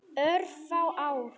Örfá ár.